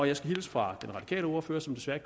jeg skal hilse fra den radikale ordfører som desværre